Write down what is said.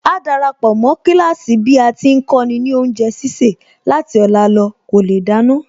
Áá darapọ̀ mó kíláàsì bí a ti ń kọ́ni ní oúnjẹ sísè láti ọ̀la lọ kò lè dáná